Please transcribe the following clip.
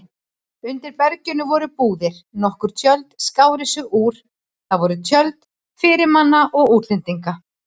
Undir berginu voru búðir, nokkur tjöld skáru sig úr, það voru tjöld fyrirmanna og útlendinga.